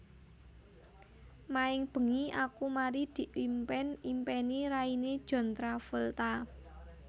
Maeng bengi aku mari diimpen impeni raine John Travolta